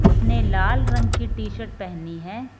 उसने लाल रंग की टी शर्ट पहनी है।